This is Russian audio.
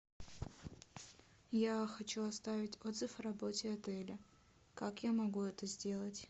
я хочу оставить отзыв о работе отеля как я могу это сделать